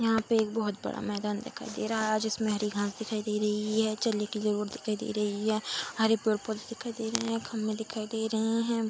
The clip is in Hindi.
यहाँ पे एक बहुत बड़ा मैदान दिखाई दे रहा है जिसमें हरी घास दिखाई दे रही है चलने के लिए रोड दिखाई दे रही है हरे पेड़-पोधे दिखाई दे रहे हैं खम्बे दिखाई दे रहे हैं।